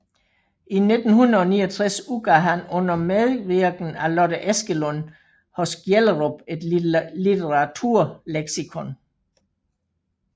I 1969 udgav han under medvirken af Lotte Eskelund hos Gjellerup et Litteraturleksikon